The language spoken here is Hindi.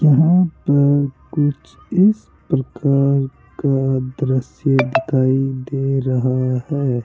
यहां पर कुछ इस प्रकार का दृश्य दिखाई दे रहा है।